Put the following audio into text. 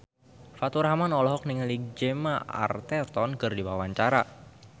Faturrahman olohok ningali Gemma Arterton keur diwawancara